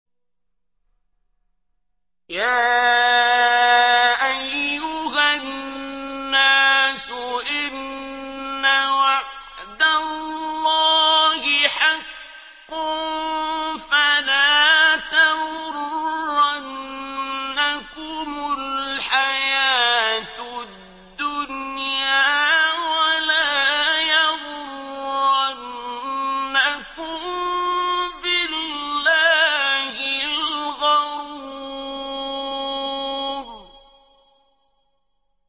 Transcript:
يَا أَيُّهَا النَّاسُ إِنَّ وَعْدَ اللَّهِ حَقٌّ ۖ فَلَا تَغُرَّنَّكُمُ الْحَيَاةُ الدُّنْيَا ۖ وَلَا يَغُرَّنَّكُم بِاللَّهِ الْغَرُورُ